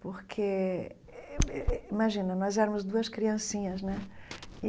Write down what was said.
Porque, imagina, nós éramos duas criancinhas, né?